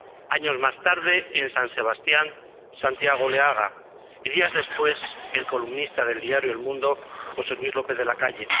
Años más tarde, en San Sebastián, Santiago Oleaga y, días después, el columnista del diario El Mundo José Luis López de Lacalle.